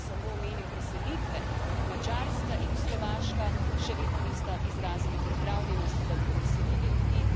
Če samo omenim preselitve Madžarska in Slovaška še vedno nista izrazili pripravljenosti, da bi preselili ljudi.